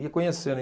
Ia conhecendo.